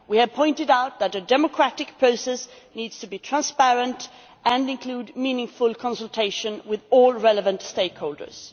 We have pointed out that a democratic process needs to be transparent and include meaningful consultation with all relevant stakeholders.